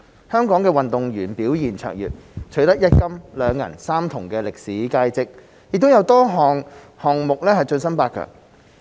香港運動員表現超卓，取得一金、兩銀、三銅的歷史佳績，亦在多個項目晉身八強。